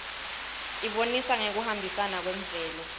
ibonisa ngekuhambisana kwemvelo